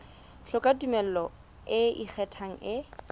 hloka tumello e ikgethang e